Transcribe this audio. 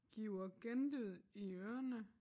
Giver genlyd i ørerne